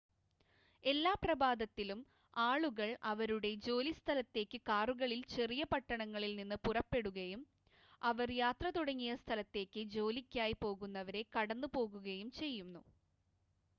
എല്ലാ പ്രഭാതത്തിലും ആളുകൾ അവരുടെ ജോലി സ്ഥലത്തേക്ക് കാറുകളിൽ ചെറിയ പട്ടണങ്ങളിൽ നിന്ന് പുറപ്പെടുകയും അവർ യാത്ര തുടങ്ങിയ സ്ഥലത്തേക്ക് ജോലിക്കായി പോകുന്നവരെ കടന്ന് പോകുകയും ചെയ്യുന്നു